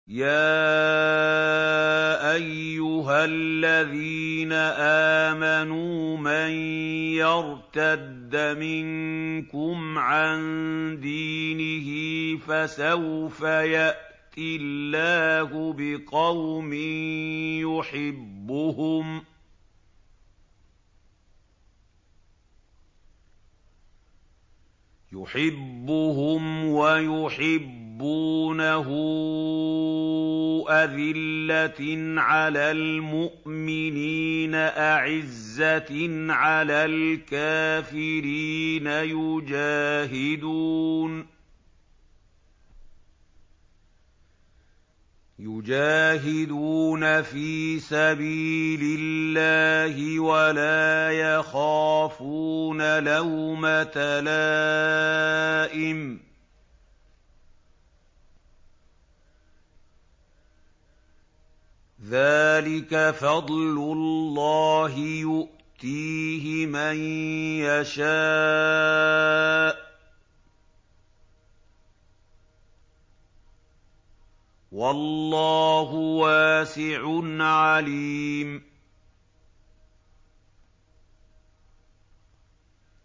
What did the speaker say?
يَا أَيُّهَا الَّذِينَ آمَنُوا مَن يَرْتَدَّ مِنكُمْ عَن دِينِهِ فَسَوْفَ يَأْتِي اللَّهُ بِقَوْمٍ يُحِبُّهُمْ وَيُحِبُّونَهُ أَذِلَّةٍ عَلَى الْمُؤْمِنِينَ أَعِزَّةٍ عَلَى الْكَافِرِينَ يُجَاهِدُونَ فِي سَبِيلِ اللَّهِ وَلَا يَخَافُونَ لَوْمَةَ لَائِمٍ ۚ ذَٰلِكَ فَضْلُ اللَّهِ يُؤْتِيهِ مَن يَشَاءُ ۚ وَاللَّهُ وَاسِعٌ عَلِيمٌ